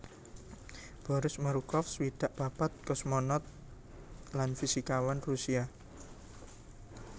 Boris Morukov swidak papat kosmonaut lan fisikawan Rusia